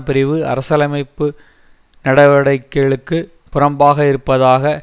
பிரிவு அரசியலமைப்பு நடவடிக்கைகளுக்கு புறம்பாக இருப்பதாக